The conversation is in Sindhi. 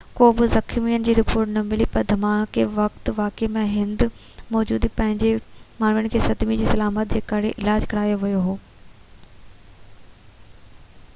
ڪا بہ زخمين جي رپورٽ نہ ملي پرڌماڪي وقت واقعي واري هنڌ موجود پنج ماڻهن کي صدمي جي علامتن جي ڪري علاج ڪرايو ويو هو